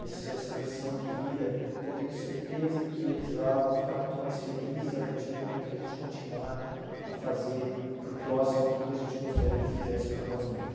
essa essa missão de vida, que eu tenho certeza que eles lá vão ficar muito mais felizes a partir do momento que a gente continuar a fazer para o próximo aquilo que a gente gostaria que fizesse para nós mesmos.